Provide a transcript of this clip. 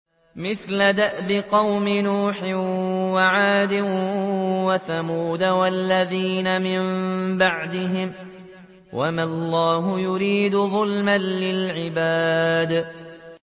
مِثْلَ دَأْبِ قَوْمِ نُوحٍ وَعَادٍ وَثَمُودَ وَالَّذِينَ مِن بَعْدِهِمْ ۚ وَمَا اللَّهُ يُرِيدُ ظُلْمًا لِّلْعِبَادِ